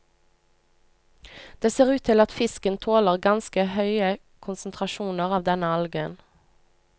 Det ser ut til at fisken tåler ganske høye konsentrasjoner av denne algen.